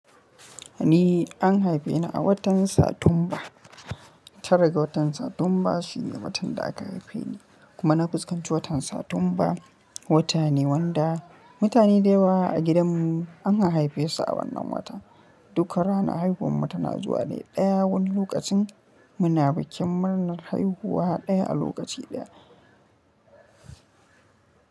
Ni an haife ni a watan Satumba. Tara ga watan Satumba shi ne watan da aka haife ni. Kuma na fuskanci watan Satumba wata ne wanda mutane da yawa a gidanmu an haife su a wannan wata. Duk ranar haihuwar mu tana zuwa ne ɗaya wani lokacin muna bikin murnar haihuwa ɗaya a lokaci ɗaya.